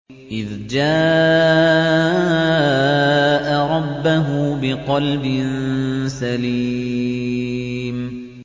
إِذْ جَاءَ رَبَّهُ بِقَلْبٍ سَلِيمٍ